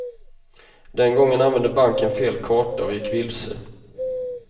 Den gången använde banken fel karta, och gick vilse.